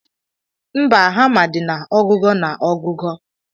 Mba, hama di na ogugo na ogugo.